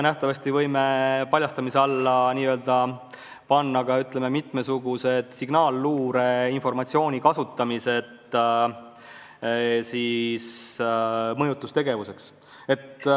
Ka võime paljastamise alla nähtavasti panna ka mitmesuguse signaalluure informatsiooni kasutamise mõjutustegevuseks.